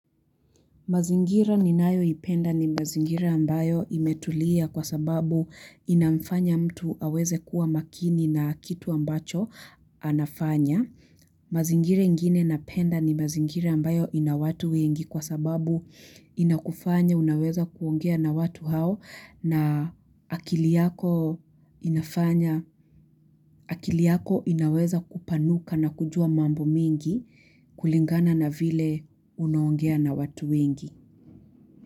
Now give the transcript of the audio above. Mazingira ninayo ipenda ni mazingira ambayo imetulia kwa sababu inamfanya mtu aweze kuwa makini na kitu ambacho anafanya. Mazingira ingine napenda ni mazingira ambayo inawatu wengi kwa sababu inakufanya unaweza kuongea na watu hao na akiliyako inafanya, akiliyako inaweza kupanuka na kujua mambo mingi kulingana na vile unaongea na watu wengi.